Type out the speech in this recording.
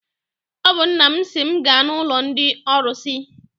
Ọ bụ nna m sị m gaa n'ụlọ ndị ọrụsị.